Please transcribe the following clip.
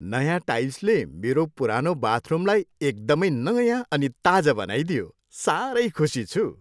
नयाँ टाइल्सले मेरो पुरानो बाथरुमलाई एकदमै नयाँ अनि ताजा बनाइदियो। साह्रै खुसी छु।